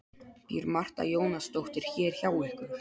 Býr Marta Jónasdóttir hér hjá ykkur?